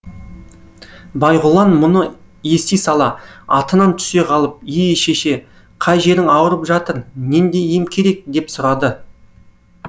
байғұлан мұны ести сала атынан түсе қалып е шеше қай жерің ауырып жатыр нендей ем керек деп сұрады